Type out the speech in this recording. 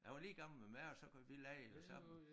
Han var lige gammel med mig og så kunne vi legede jo sammen